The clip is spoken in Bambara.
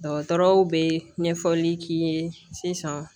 Dɔgɔtɔrɔw bɛ ɲɛfɔli k'i ye sisan